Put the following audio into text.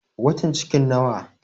Watan cikin nawa?